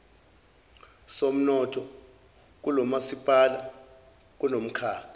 somnotho kulomasipala kunomkhakha